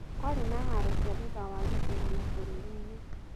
Kwarĩ na haro cia thutha wa gĩthurano bũrũri-inĩ.